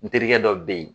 N terikɛ dɔ bɛ yen